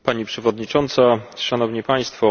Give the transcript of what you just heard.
Pani Przewodnicząca, Szanowni Państwo!